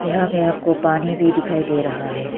यहां पे आपको पानी भी दिखाई दे रहा है।